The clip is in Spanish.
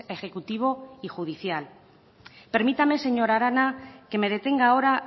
ejecutivo y judicial permítame señora arana que me detenga ahora